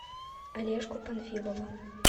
олежку панфилова